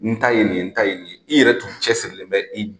N ta ye nin n ta ye i yɛrɛ dun cɛsiri bɛ i